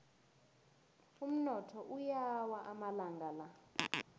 umnotho uyawa amalanga la